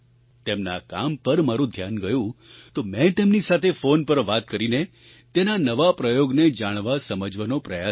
તેમના આ કામ પર મારું ધ્યાન ગયું તો મેં તેમની સાથે ફોન પર વાત કરીને તેના આ નવા પ્રયોગને જાણવાસમજવાનો પ્રયાસ કર્યો